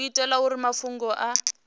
u itela uri mafhungo a